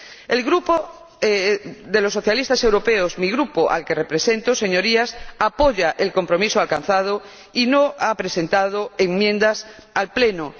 El Grupo de los Socialistas Europeos, mi Grupo, al que represento, señorías, apoya el compromiso alcanzado y no ha presentado enmiendas al Pleno.